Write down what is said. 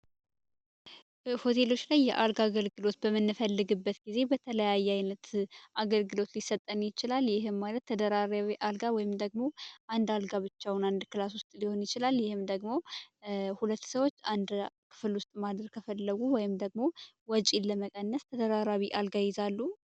ሆቴሎች ላይ የአልጋ አገልግሎት በመነፈልግበት ጊዜ በተለያየ አይነት አገልግሎት ሊሰጠን ይችላል ማለት ተደጋ ወይም ደግሞ አንዳንድ ጋብቻውን አንድ ክላል ውስጥ ማደር ከፈለጉ ወይም ደግሞ ወጪን ለመቀነስ አልጋ ይዛሉ